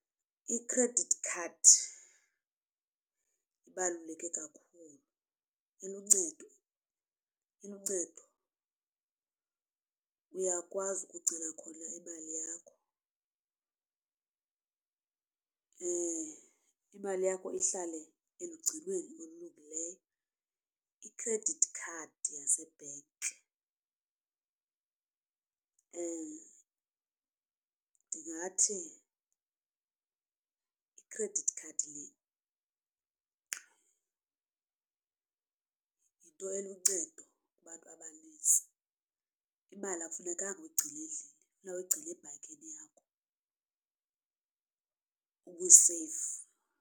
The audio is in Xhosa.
Ikhredithi khadi ibaluleke kakhulu iluncedo, iluncedo uyakwazi ukugcina khona imali yakho imali yakho ihlale elugcinweni olulungileyo. I-credit card yase-bank ndingathi i-credit card le yinto eluncedo kubantu abanintsi imali akufunekanga uyigcine endlini funeke uyigcine ebhankini yakho ibeseyifu.